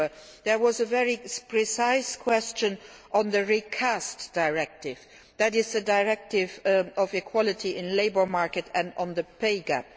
House. However, there was a very precise question on the recast directive, that is the directive on equality in the labour market and on the pay